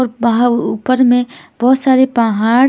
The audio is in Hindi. और वाहा ऊपर में बहोत सारे पाहाड़ --